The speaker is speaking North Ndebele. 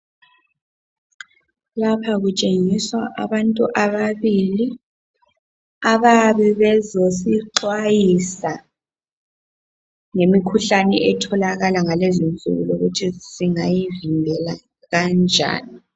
Lapha kutshengiswa abantu ababili abayabe bezosixwayisa ngemikhuhlane etholakala ngalezinsuku lokuthi singayivikela kanjani.